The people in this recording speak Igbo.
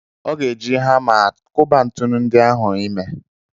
Ọ ga-eji hama a kụba ntụnụ ndị ahụ ime.